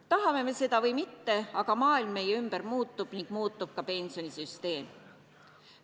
Tahame me seda või mitte, aga maailm meie ümber muutub ning muutub ka pensionisüsteem.